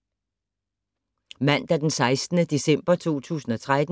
Mandag d. 16. december 2013